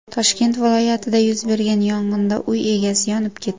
Toshkent viloyatida yuz bergan yong‘inda uy egasi yonib ketdi.